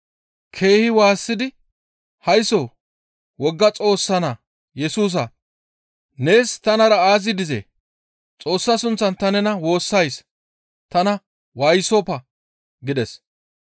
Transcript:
Keehi waassidi, «Haysso wogga Xoossa Naa Yesusa, nees tanara aazi dizee? Xoossa sunththan ta nena woossays tana waayisoppa» gides.